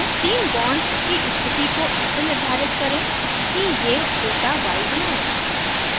तीन bonds की स्थिति को ऐसे निर्धारित करें कि ये उल्टा y बनायें